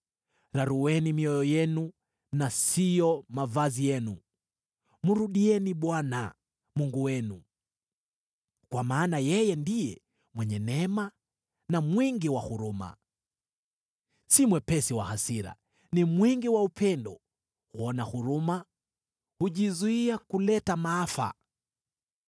Rarueni mioyo yenu na siyo mavazi yenu. Mrudieni Bwana , Mungu wenu, kwa maana yeye ndiye mwenye neema na mwingi wa huruma, si mwepesi wa hasira, ni mwingi wa upendo, huona huruma, hujizuia kuleta maafa.